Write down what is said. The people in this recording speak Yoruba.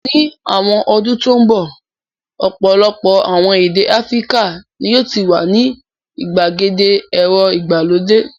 Ní àwọn ọdún tó ń bọ̀ ọ̀pọ̀lọpọ̀ àwọn èdè Áfíríkà ni yóò ti wà ní ìgbàgede ẹ̀rọ ìgbàlódé.